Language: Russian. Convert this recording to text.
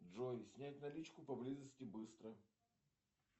джой снять наличку поблизости быстро